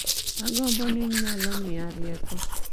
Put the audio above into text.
Agombo ni nyalo miya rieko